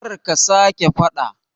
Kar ka sa ke fada